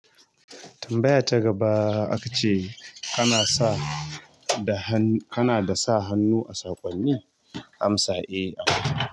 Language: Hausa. Tambaya ta gaba aka ce ana da sa hannu a saƙonni? Amsa e akwi.